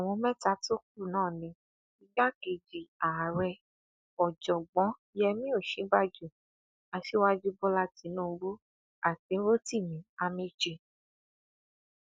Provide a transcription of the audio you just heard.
àwọn mẹta tó kù náà ni igbákejì ààrẹ ọjọgbó yẹmi òsínbàjò aṣíwájú bọlá tínúbù àti rotimi amaechi